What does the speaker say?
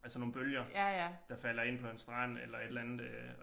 Altså nogle bølger der falder ind på en strand eller et eller andet øh